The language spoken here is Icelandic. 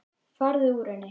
Farðu úr henni.